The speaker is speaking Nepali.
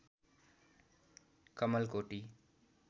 कमलकोटी